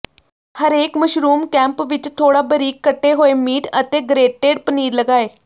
ਹਰੇਕ mushroom cap ਵਿਚ ਥੋੜਾ ਬਾਰੀਕ ਕੱਟੇ ਹੋਏ ਮੀਟ ਅਤੇ ਗਰੇਟੇਡ ਪਨੀਰ ਲਗਾਏ